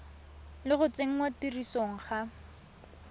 le go tsenngwa tirisong ga